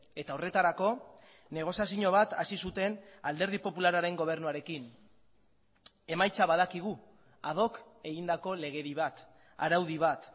eta horretarako negoziazio bat hasi zuten alderdi popularraren gobernuarekin emaitza badakigu ad hoc egindako legedi bat araudi bat